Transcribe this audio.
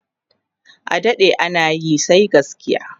adaɗe anayi sai gaskiya!